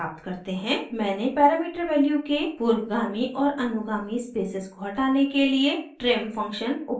मैंने parameter value के पूर्वगामी और अनुगामी स्पेसेस को हटाने के लिए trim फंक्शन उपयोग किया है